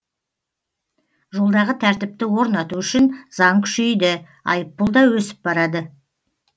жолдағы тәртіпті орнату үшін заң күшейді айыппұл да өсіп барады